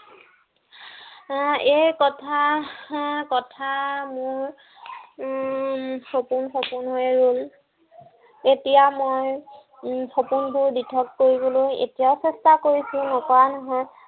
এৰ এই কথা আহ কথা আহ মোৰ উম সপোন সপোন হৈয়ে ৰল। এতিয়া মই উম সপোনবোৰ দিঠক কৰিবলৈ এতিয়া চেষ্টা কৰিছো। নকৰা নহয়।